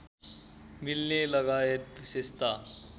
मिल्नेलगायत विशेषता